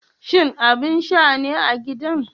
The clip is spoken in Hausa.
Shin abin sha ne a gidan?